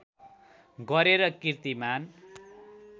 गरेर किर्तिमान